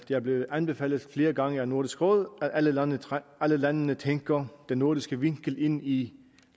er blevet anbefalet flere gange af nordisk råd at alle landene landene tænker den nordiske vinkel ind i